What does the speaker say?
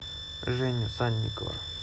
женю санникова